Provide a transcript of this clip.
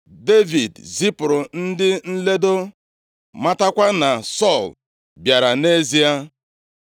Devid zipụrụ ndị nledo, matakwa na Sọl bịara nʼezie.